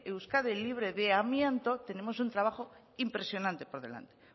euskadi libre de amianto tenemos un trabajo impresionante por delante